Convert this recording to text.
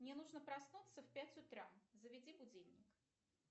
мне нужно проснуться в пять утра заведи будильник